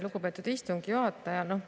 Lugupeetud istungi juhataja!